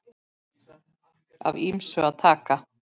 Af ýmsu var að taka.